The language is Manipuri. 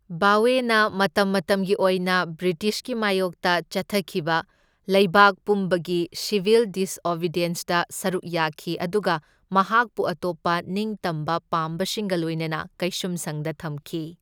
ꯚꯥꯋꯦꯅ ꯃꯇꯝ ꯃꯇꯝꯒꯤ ꯑꯣꯏꯅ ꯕ꯭ꯔꯤꯇꯤꯁꯀꯤ ꯃꯥꯌꯣꯛꯇ ꯆꯠꯊꯈꯤꯕ ꯂꯩꯕꯥꯛ ꯄꯨꯝꯕꯒꯤ ꯁꯤꯚꯤꯜ ꯗꯤꯁꯑꯣꯕꯤꯗꯤꯌꯦꯟꯁꯇ ꯁꯔꯨꯛ ꯌꯥꯈꯤ ꯑꯗꯨꯒ ꯃꯍꯥꯛꯄꯨ ꯑꯇꯣꯞꯄ ꯅꯤꯡꯇꯝꯕ ꯄꯥꯝꯕꯁꯤꯡꯒ ꯂꯣꯏꯅꯅ ꯀꯩꯁꯨꯝꯁꯪꯗ ꯊꯝꯈꯤ꯫